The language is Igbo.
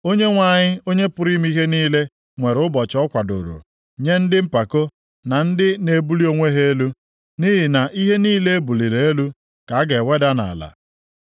Onyenwe anyị, Onye pụrụ ime ihe niile, nwere ụbọchị ọ kwadooro nye ndị mpako na ndị na-ebuli onwe ha elu, nʼihi na ihe niile e buliri elu (ka a ga-eweda nʼala),